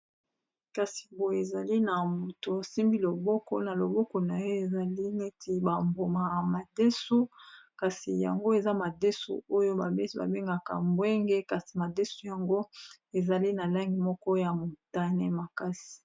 Kasi boyo ezali na moto asimbi loboko na loboko na ye ezali neti bamboma ya madesu, kasi yango eza madesu oyo babesi babengaka mbwenge kasi madesu yango ezali na langi moko ya motane makasi.